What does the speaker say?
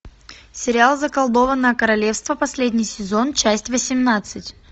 сериал заколдованное королевство последний сезон часть восемнадцать